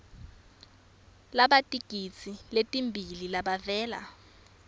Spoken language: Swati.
labatigidzi letimbili labavela